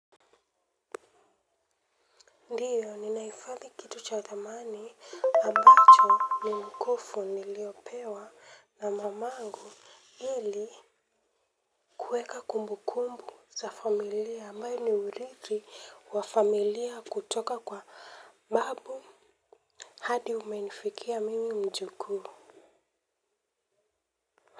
Ndiyo, ninahifadhi kitu cha dhamani ambacho ni mkufu niliopewa na mamangu ili kuweka kumbu kumbu za familia ambayo ni uridhi wa familia kutoka kwa babu hadi umenifikia mimi mjukuu.